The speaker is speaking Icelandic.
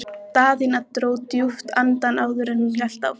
Daðína dró djúpt andann áður en hún hélt áfram.